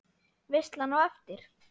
Veislan á eftir?